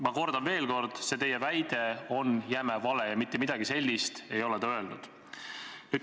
Ma kordan veel kord, see teie väide on jäme vale, mitte midagi sellist ei ole ta öelnud.